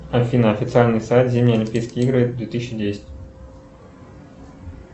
афина официальный сайт зимние олимпийские игры две тысячи десять